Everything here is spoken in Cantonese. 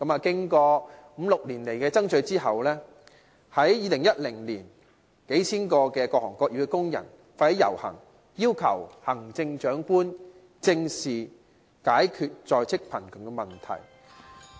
經過五六年的爭取，在2010年，數千名各行各業的工人發起遊行，要求行政長官正視解決在職貧窮的問題。